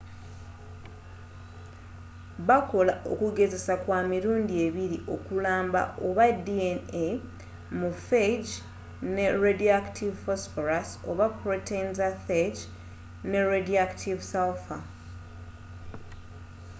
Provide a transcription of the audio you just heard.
bakola okugezesa kwa mirundi ebiri okulamba oba dna mu phage ne radioactive phosphorus oba protein za phage ne radioactive sulfur